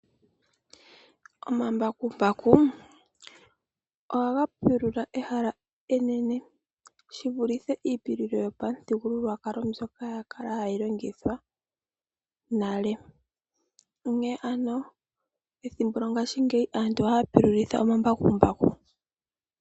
Omambakumbaku ohaga pulula ehala enene shivulithe iipululo yopamuthigululwakalo mbyoka ya kala hayi longithwa nale. Onkene ano ethimbo lyongashingeyi aantu ohaya pululitha omambakumbaku.